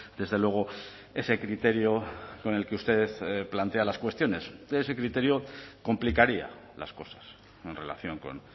desde luego ese criterio con el que usted plantea las cuestiones ese criterio complicaría las cosas en relación con